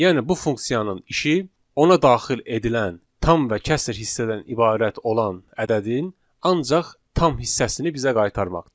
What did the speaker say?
Yəni bu funksiyanın işi ona daxil edilən tam və kəsr hissədən ibarət olan ədədin ancaq tam hissəsini bizə qaytarmaqdır.